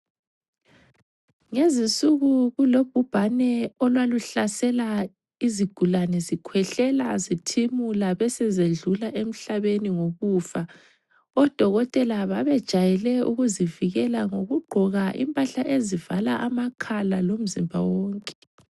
Ngezinsuku kulobhubhane olwaluhlasela izigulane zikhwehlela zithimula besezedlula emhlabeni ngokufa. Odokotela babajayele ukuzivikela ngokugqoka impahla ezivala amakhala lomzimba wonke.